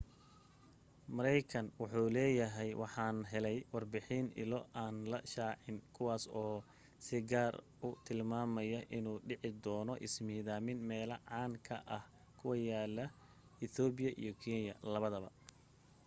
mareekan wuxuu leeyahay waxaan helay warbixin ilo aan la shaacin kuwaas oo si gaar u tilmaamay inuu dhici doona ismidaamin meelaha caan ka ah ku yaala ethopia iyo kenya labada